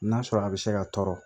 N'a sɔrɔ a bɛ se ka tɔɔrɔ